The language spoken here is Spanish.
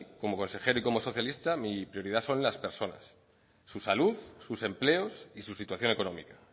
como consejera y como socialista mi prioridad son las personas su salud sus empleos y su situación económica